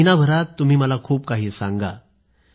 महिनाभरात तुम्ही मला खूप काही सांगा